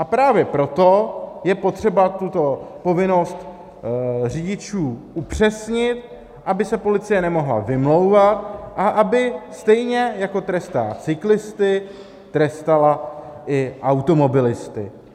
A právě proto je potřeba tuto povinnost řidičů upřesnit, aby se policie nemohla vymlouvat a aby stejně, jako trestá cyklisty, trestala i automobilisty.